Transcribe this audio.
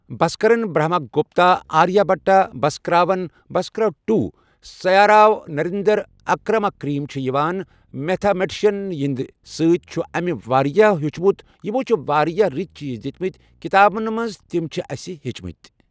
بسکرن Brahma Gupta Aryabhata Bhaskara one Bhaskara two سیا راو نریندرا کمراکر یِم چھ یِوان میتھا مٹشن یِہندۍ سۭتۍ چھُ اَسہِ واریاہ ہیوٚچھمُت یِمو چھ واریاہ رٕتۍ چیٖز دِتۍ مٕتۍ کِتابن منٛز تِم چھ اَسہِ ہیٚچھۍ مٕتۍ.